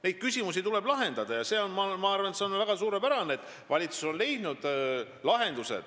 Neid küsimusi tuleb lahendada ja ma arvan, et see on suurepärane, et valitsus on leidnud lahendusi.